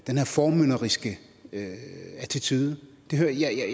den her formynderiske attitude